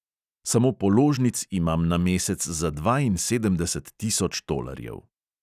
Samo položnic imam na mesec za dvainsedemdeset tisoč tolarjev.